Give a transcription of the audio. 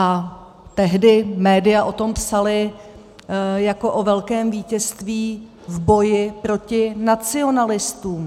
A tehdy média o tom psala jako o velkém vítězství v boji proti nacionalistům.